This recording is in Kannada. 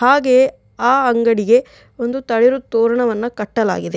ಹಾಗೆಯೆ ಆ ಅಂಗಡಿಗೆ ಒಂದು ತಳಿರು ತೋರಣವನ್ನ ಕಟ್ಟಲಾಗಿದೆ.